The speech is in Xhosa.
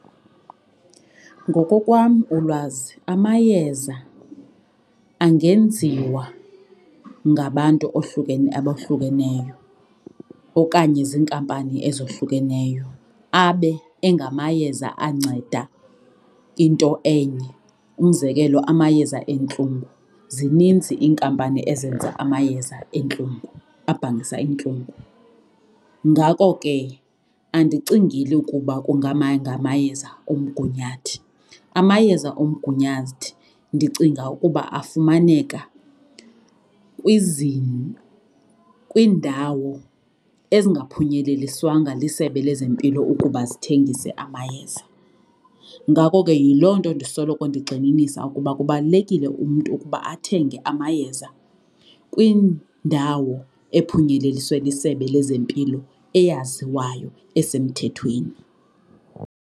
Ngoko kwam ulwazi amayeza angenziwa ngabantu abohlukeneyo okanye ziinkampani ezohlukeneyo abe engamayeza anceda into enye. Umzekelo, amayeza entlungu, zininzi iinkampani ezenza amayeza entlungu abhangisa iintlungu. Ngako ke andicingeli ukuba ngamayeza omgunyathi amayeza omgunyathi ndicinga ukuba afumaneka kwiindawo ezingaphunyeleliswanga lisebe lezempilo ukuba zithengise amayeza. Ngako ke yiloo nto ndisoloko ndigxininisa ukuba kubalulekile umntu ukuba athenge amayeza kwindawo ephunyeleliswe liSebe lezeMpilo eyaziwayo esemthethweni.